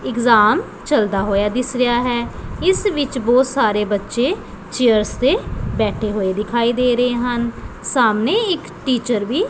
exam ਚਲਦਾ ਹੋਇਆ ਦਿਸ ਰਿਹਾ ਹੈ ਇਸ ਵਿੱਚ ਬਹੁਤ ਸਾਰੇ ਬੱਚੇ ਚੇਅਰਸ ਤੇ ਬੈਠੇ ਹੋਏ ਦਿਖਾਈ ਦੇ ਰਹੇ ਹਨ ਸਾਹਮਣੇ ਇੱਕ ਟੀਚਰ ਵੀ --